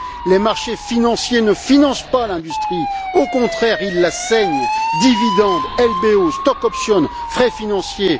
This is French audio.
Les marchés financiers ne financent pas l'industrie, au contraire, ils la saignent dividendes, LBO, stock options frais financiers...